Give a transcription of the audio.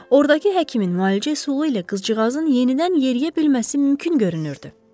Ordakı həkimin müalicəsi ilə qızcığazın yenidən yeriyə bilməsi mümkün görünürdü.